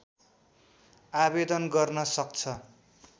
आवेदन गर्न सक्छ